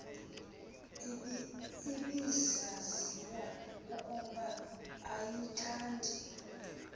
ibisaziwa ukuba ayithandi